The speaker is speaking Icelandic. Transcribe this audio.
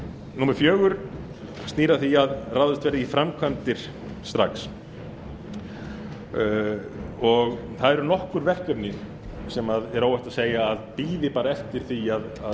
númer fjögur snýr að því að ráðist verði í framkvæmdir strax það eru nokkur verkefni sem er óhætt að segja að bíði eftir því að